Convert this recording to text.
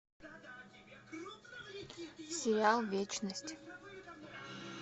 сериал вечность